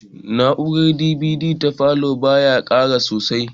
Na'urar DVD da falow ba ya ƙara sosai